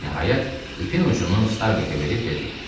Nəhayət, ipin ucunu Starbekə verib dedi: